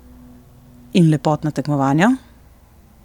In lepotna tekmovanja?